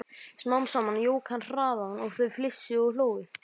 Smám saman jók hann hraðann og þau flissuðu og hlógu.